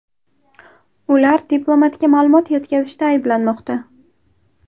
Ular diplomatga ma’lumot yetkazishda ayblanmoqda.